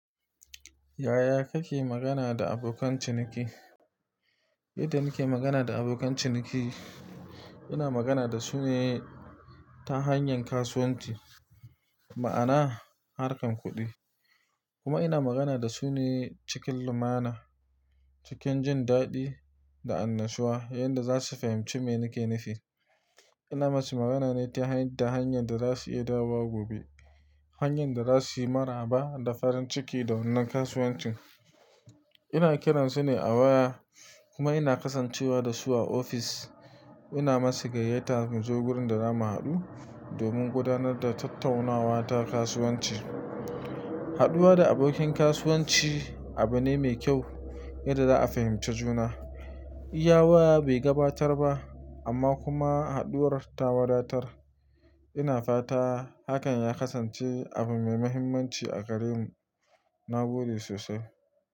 Yaya kake magana da abokan ciniki? Yadda nake magana da abokan ciniki, ina magana da su ne ta hanyar kasuwanci, ma'ana harkan kuɗi, kuma ina magana da su ne cikin lumana, cikin jin daɗi da annashuwa yanda za su fahimci me nake nafi. Ina musu magana ne ta hanyar da za su yi dawo wa gobe, hanyar da za su yi maraba da farin ciki da wannan kasuwancin. Ina kiran su ne a waya kuma ina kasancewa da su a ofis. Ina musu gayyata mu zo wurin da za mu haɗu domin gudanar da tattaunawa ta kasuwanci. Haɗuwa da abokin kasuwanci abu ne mai kyau yanda za a fahimci juna. Iya waya bai gabatar ba amma kuma haɗuwar ta wadatar. Ina fata hakan ya kasance abu mai mahimmanci a gare mu. Na gode sosai.